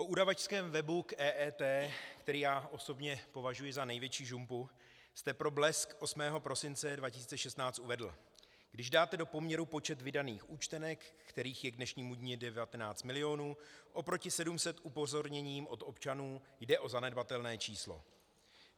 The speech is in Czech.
O udavačském webu k EET, který já osobně považuji za největší žumpu, jste pro Blesk 8. prosince 2016 uvedl: Když dáte do poměru počet vydaných účtenek, kterých je k dnešnímu dni 19 milionů, proti 700 upozornění od občanů, jde o zanedbatelné číslo.